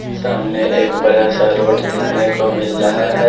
सामने एक बड़ा सा रोड देखने को मिल रहा है।